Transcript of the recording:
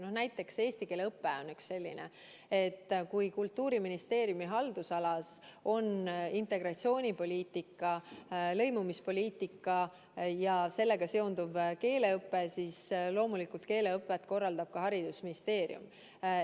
No näiteks eesti keele õpe on üks neist tegevusest: Kultuuriministeeriumi haldusalas on lõimumispoliitika ja sellega seonduv keeleõpe ning loomulikult korraldab keeleõpet ka Haridus- ja Teadusministeerium.